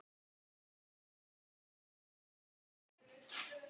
Enda hvernig mátti annað vera?